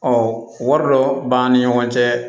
wari dɔ b'an ni ɲɔgɔn cɛ